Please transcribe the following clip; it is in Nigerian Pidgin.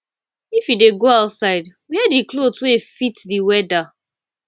if you dey go outside wear di cloth wey fit di weather